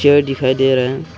Chair दिखाई दे रहा है।